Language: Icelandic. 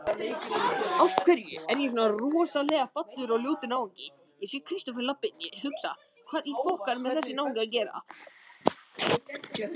Hvernig greiddir þú atkvæði þar?